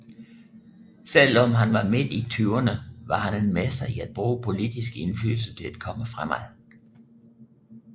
Selv om han var mid i tyverne var han en mester i at bruge politisk indflydelse til at komme fremad